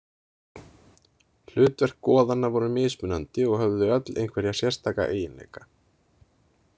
Hlutverk goðanna voru mismunandi og höfðu þau öll einhverja sérstaka eiginleika.